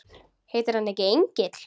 Heitir hann ekki Engill?